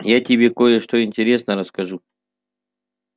я тебе кое-что интересное расскажу